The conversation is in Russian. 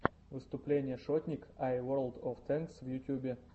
выступление шотник ай ворлд оф тэнкс в ютьюбе